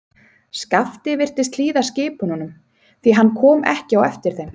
Skapti virtist hlýða skipununum, því hann kom ekki á eftir þeim.